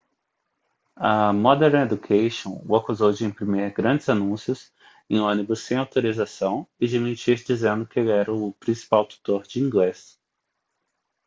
a modern education o acusou de imprimir grandes anúncios em ônibus sem autorização e de mentir dizendo que ele era o principal tutor de inglês